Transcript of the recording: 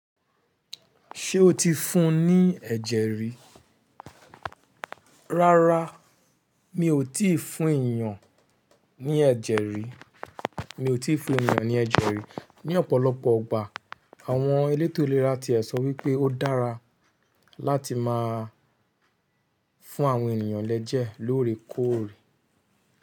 Ṣé o ti fún ní ẹ̀jẹ̀ rí? Rárá, mi ò tí fún èèyàn ní ẹ̀jẹ̀ rí, mi ò tí fún èèyàn ní ẹ̀jẹ̀ rí. Ní ọ̀pọ̀lọpọ̀ ọgbà àwọn elétò ìlera ti ẹ̀ sọ wípé ó dára láti máa fún àwọn ènìyàn lẹ́jẹ̀ lóòrèkóòrè.